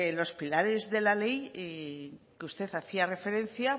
los pilares de la ley que usted hacía referencia